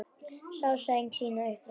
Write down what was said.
Sá sæng sína upp reidda.